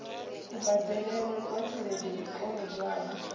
kubadelele kwa tshelede i kolodwaho